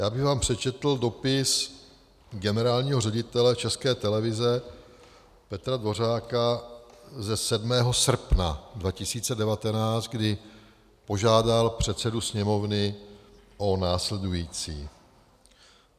Já bych vám přečetl dopis generálního ředitele České televize Petra Dvořáka ze 7. srpna 2019, kdy požádal předsedu Sněmovny o následující: